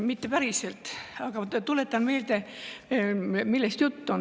Mitte päriselt, aga ma tuletan meelde, millest juttu on.